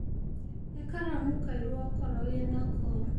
He karamũ kaĩrũ okorwo wĩnako